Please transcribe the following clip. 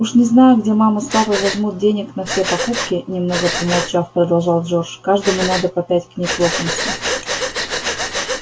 уж не знаю где мама с папой возьмут денег на все покупки немного помолчав продолжал джордж каждому надо по пять книг локонса